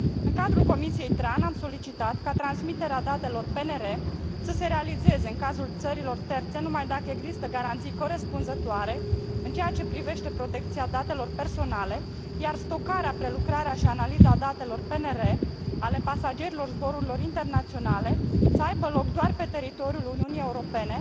În cadrul Comisiei TRAN, am solicitat ca transmiterea datelor PNR să se realizeze, în cazul țărilor terțe, numai dacă există garanții corespunzătoare în ceea ce privește protecția datelor personale, iar stocarea, prelucrarea și analiza datelor PNR ale pasagerilor zborurilor internaționale să aibă loc doar pe teritoriul Uniunii Europene,